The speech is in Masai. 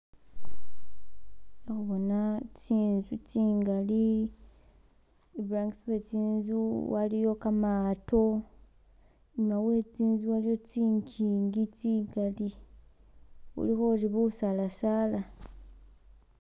Kha khubona tsinzu tsingali iburangisi we tsinzu waliyo gamaato inyuma we tsinzu waliyo tsinjing tsingali bulikho ori busaala saala